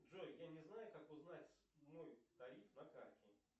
джой я не знаю как узнать мой тариф на карте